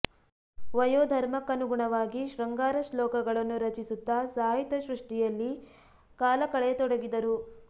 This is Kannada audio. ವಯೋಧರ್ಮಕ್ಕನುಗುಣವಾಗಿ ಶೃಂಗಾರ ಶ್ಲೋಕ ಗಳನ್ನು ರಚಿಸುತ್ತಾ ಸಾಹಿತ್ಯ ಸೃಷ್ಟಿಯಲ್ಲಿ ಕಾಲ ಕಳೆಯ ತೊಡಗಿದರು